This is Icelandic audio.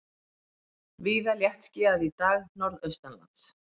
Víða léttskýjað í dag norðaustanlands